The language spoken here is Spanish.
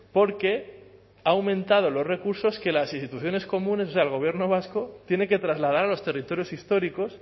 porque ha aumentado los recursos que las instituciones comunes o sea el gobierno vasco tiene que trasladar a los territorios históricos